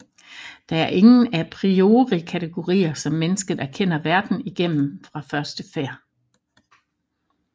Der er ingen a priori kategorier som mennesket erkender verden igennem fra første færd